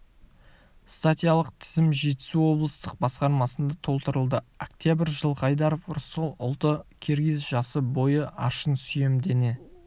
статьялық тізім жетісу облыстық басқармасында толтырылды октябрь жылқайдаров рысқұл ұлты киргиз жасы бойы аршын сүйем дене